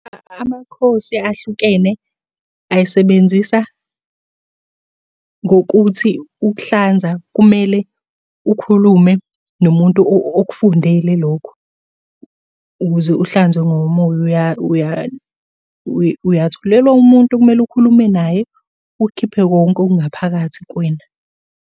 Amakhosi ahlukene ayisebenzisa ngokuthi ukuhlanza kumele ukhulume nomuntu okufundele lokho, ukuze uhlanzwe ngomoya uyatholelwa umuntu okumele ukhulume naye ukukhiphe konke okungaphakathi kuwena.